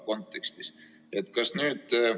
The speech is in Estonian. Austatud juhataja!